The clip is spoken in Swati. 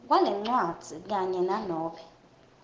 kwalencwadzi kanye nanobe